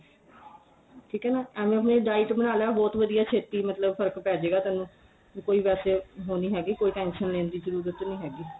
ਠੀਕ ਏ ਐਵੇ ਆਪਣੇ diet ਬਣਾ ਲੇ ਬਹੁਤ ਵਧੀਆ ਛੇਤੀ ਮਤਲਬ ਫ਼ਰਕ ਪੈ ਜੇ ਗਾ ਤੈਨੂੰ ਕੋਈ ਵੈਸੇ ਉਹ ਨੀ ਹੈਗੀ ਕੋਈ tension ਲੈਣ ਦੀ ਜਰੂਰਤ ਹੈਗੀ